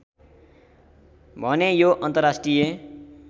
भने यो अन्तर्राष्ट्रिय